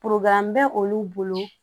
bɛ olu bolo